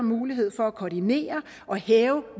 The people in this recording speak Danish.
mulighed for at koordinere og hæve